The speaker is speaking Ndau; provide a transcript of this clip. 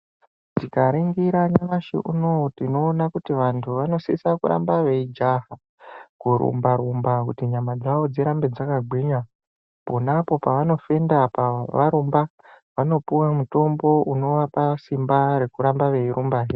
Tikaringira nyamashi unoo tinoona kuti vantu vanosisa kuramba veijaha, kurumba-rumba kuti nyama dzavo dzirambe dzakagwinya. Ponapo pavanofenda apa varumba, vanopuwa mutombo unovapa simba rekuramba veirumbahe.